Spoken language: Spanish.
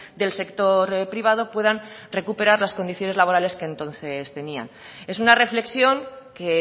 del sector privado puedan recuperar las condiciones laborales que entonces tenían es una reflexión que